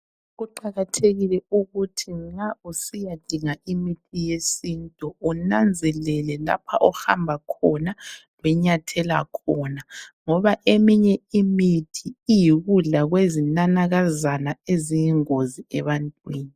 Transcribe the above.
Kuqakathekile ukuthi nxa usiyadinga imithi yesintu unanzelele lapha ohamba khona lonyathela khona ngoba eminye imithi iyikudla kwezinanakazana eziyingozi ebantwini.